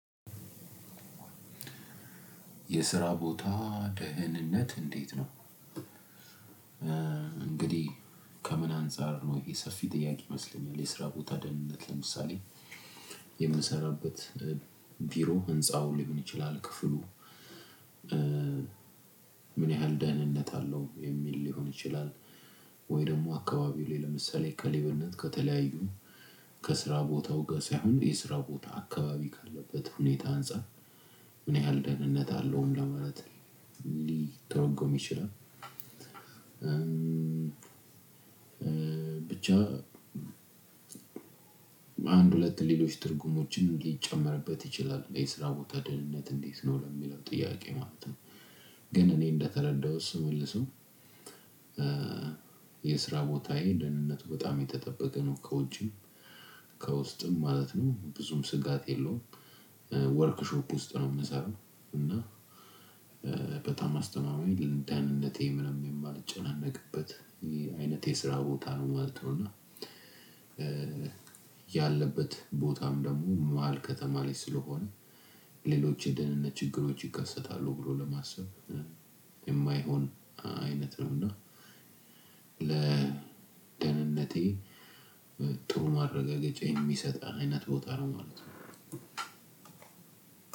የስራ ቦታ ደህንነት እንዴት ነው እንግዲህ ከምን አንፃር ነው ይህሰፊ ጥያቄ ይመስለኛል የስራቦታ ደህንነት ለምሳሌ የምሰራበት ቢሮ ህንፃውን ሊሆን ይችላል ክፍሉ ምን ያህል ደህንነት አለው የሚል ሊሆን ይችላል ወይ ደግሞ አካባቢው ላይ ለምሳሌ ከሌብነት ከተለያዩ ከስራ ቦታው ጋ ሳይሆን የስራው ቦታ አካባቢ ካለበት ሁኔታ አንፃር ምን ያህል ደህንነት አለው ምን ለማለት ሊተረጎም ይችላል። ብቻ በአንድ ሁለት ሌሎች ትርጉሞችን ሊጨመርበት ይችላል የስራ ቦታ ደህንነት እንዴት ነው ለሚለው ጥያቄ ማለት ነው? ግን እኔ እንደተረዳሁት ስመልሰው። የስራ ቦታ ይሄ ደህንነቱ በጣም የተጠበቀ ነው። ከውጪም ከውስጥም ማለት ነው ብዙም ስጋት የለውም። ወርክሾፕ ውስጥ ነው የምሰራው እና በጣም አስተማማኝ ደህንነቴ ምንምን የማልጨናነቅበት ይሄ አይነት የስራ ቦታ ነው ማለት ነው። እና ያለበት ቦታም ደግሞ መሃል ከተማ ላይ ስለሆነ ሌሎች የደህንነት ችግሮች ይከሰታሉ ብሎ ለማሰብ የማይሆን አይነት ነው። እና ለደህንነቴ ጥሩ ማረጋገጫ የሚሰጥ አይነት ቦታ ነው ማለት ነው።